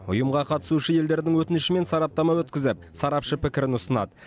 ұйымға қатысушы елдердің өтінішімен сараптама өткізіп сарапшы пікірін ұсынад